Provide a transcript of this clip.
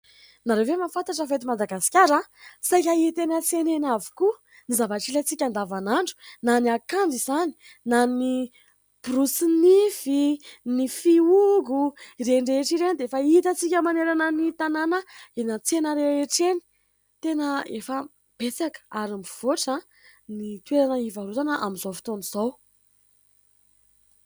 Nareo ve mahafantatra fa eto Madagasikara saika hita eny an-tsena avokoa ny zavatra ilaintsika adavan'andro na ny akanjo izany na ny "brosse" nify ny fiogo ireny rehetra ireny dia efa itantsika manerana ny tanàna eny antsena rehetraretra eny tena efa betsaka ary mivoatra ny toerana hivarotana amin'izao fotoana izao.